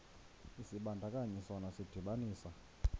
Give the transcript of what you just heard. isibandakanyi sona sidibanisa